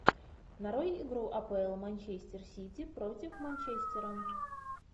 нарой игру апл манчестер сити против манчестера